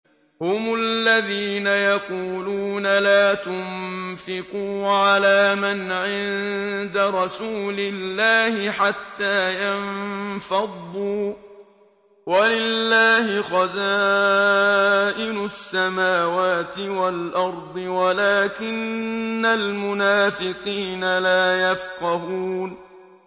هُمُ الَّذِينَ يَقُولُونَ لَا تُنفِقُوا عَلَىٰ مَنْ عِندَ رَسُولِ اللَّهِ حَتَّىٰ يَنفَضُّوا ۗ وَلِلَّهِ خَزَائِنُ السَّمَاوَاتِ وَالْأَرْضِ وَلَٰكِنَّ الْمُنَافِقِينَ لَا يَفْقَهُونَ